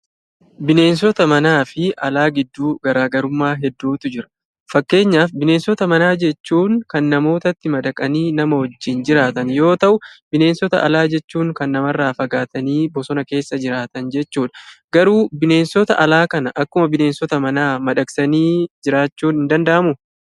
Bineensota manaa fi alaa gidduu garaagarummaa hedduutu jira. Fakkeenyaaf bineensota manaa jechuun kan namootatti madaqanii nama wajjin jiraatan yoo ta'u, bineensota alaa jechuun kan namarraa fagaatanii bosona keessa jiraatan jechuudha. Garuu bineensota alaa kana akkuma bineensota manaa kana madaqsanii jiraachuun hin danda'amuu?